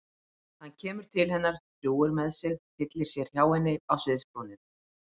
Hann kemur til hennar, drjúgur með sig, tyllir sér hjá henni á sviðsbrúnina.